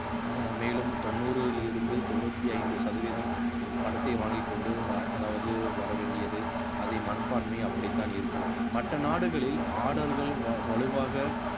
அஹ் மேலும் தொண்ணூறில் இருந்து தொண்ணூத்தி ஐந்து சதவீதம் பணத்தை வாங்கிக் கொண்டு அதாவது வர வேண்டியது அதை மனப்பான்மை அப்படித்தான் இருக்கும் மற்ற நாடுகளில் order கள் வ~ வலுவாக